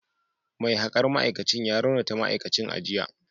Mai hakar ma’aikacin ya raunata ma’aikacin a jiya